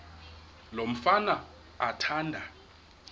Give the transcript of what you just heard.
lo mfana athanda